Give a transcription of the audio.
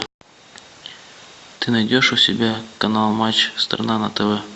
ты найдешь у себя канал матч страна на тв